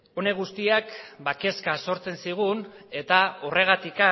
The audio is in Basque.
honek guztiak kezka sortzen zigun eta horregatik